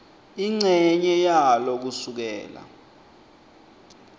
incenye yalo kusukela